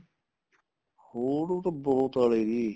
ਹੋਰ ਉਹ ਤਾਂ ਬਹੁਤ ਆਲੇ ਜੀ